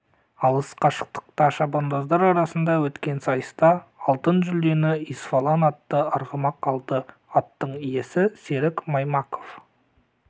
алыс қашықтықта шабандоздар арасында өткен сайыста алтын жүлдені исфалан атты арғымақ алды аттың иесі серік маймаков